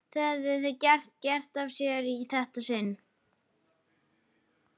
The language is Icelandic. Hvað höfðu þau gert af sér í þetta sinn?